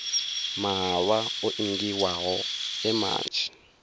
mahalwa o ingiwaho e manzhi